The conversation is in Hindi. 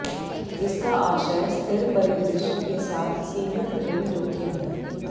इसका आशय स्थिर परिदृश्य के साथ सीमित ऋण जोखिम है